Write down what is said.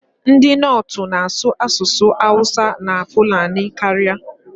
Ndị Nortu na-asụ asụsụ Awusa na Fulani karịa.